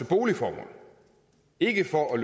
boligformål ikke for at